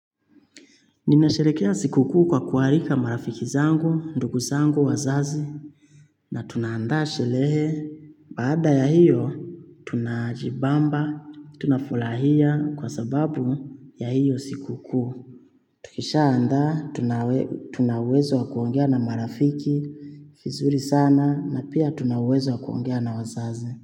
Ninasherekea sikukuu kwa kuarika marafiki zangu, ndugu zangu, wazazi. Na tunaandaa shelehe, baada ya hiyo, tunajibamba, tunafulahia kwa sababu ya hiyo sikukuu. Tukishaandaa, tuna uwezo wa kuongea na marafiki, fizuri sana, na pia tuna uwezo wa kuongea na wazazi.